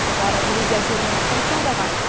олар грузия жерінен қоныс аударған